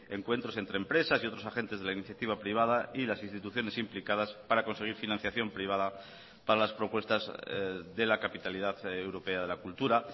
encuentros entre empresas y otros agentes de la iniciativa privada y las instituciones implicadas para conseguir financiación privada para las propuestas de la capitalidad europea de la cultura